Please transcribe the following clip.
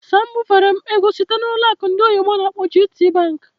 Sam bufere m ego site na ụlọ akụ ndị oyibo n'akpọ "GTBank".